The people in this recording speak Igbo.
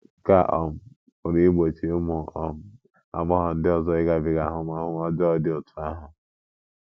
Nke a um pụrụ igbochi ụmụ um agbọghọ ndị ọzọ ịgabiga ahụmahụ ọjọọ dị otú ahụ.